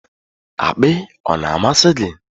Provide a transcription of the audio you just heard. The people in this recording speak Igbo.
Akpị ọ na-amasị gị?